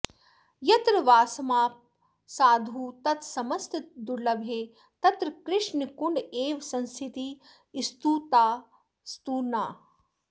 यत्र वासमाप साधु तत्समस्तदुर्लभे तत्र कृष्णकुण्ड एव संस्थितिः स्तुतास्तु नः